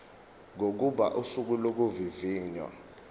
kokuba usuku lokuvivinywa